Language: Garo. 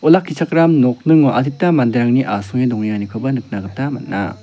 olakkichakram nokningo adita manderangni asonge dongenganikoba nikna gita man·a.